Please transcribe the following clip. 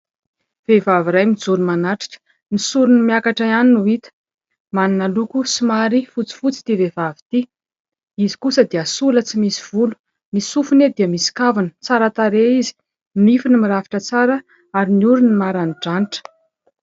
Vehivavy iray mijoro manatrika. Ny sorony miakatra ihany no hita. Manana loko somary fotsifotsy ity vehivavy ity. Izy kosa dia sola tsy misy volo, ny sofiny dia misy kavina, tsara tarehy izy, nifiny mirafitra tsara ary ny orony maranidranitra.